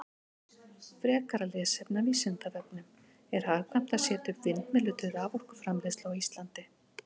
Frekara lesefni af Vísindavefnum: Er hagkvæmt að setja upp vindmyllur til raforkuframleiðslu á Íslandi?